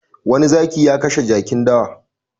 Wani zaki ya kashe jakin dawa.